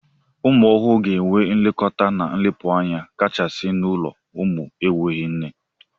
Ụmụ ọhụrụ ga-enwe nlekọta na nlekpụanya kachasị n'ulo ụmụ n'enweghị nne.